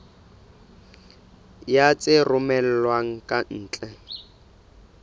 ya tse romellwang ka ntle